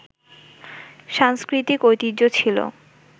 সাংস্কৃতিক ঐতিহ্য ছিল